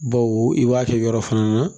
Baw i b'a kɛ yɔrɔ fana na